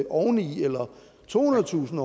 oveni eller tohundredetusind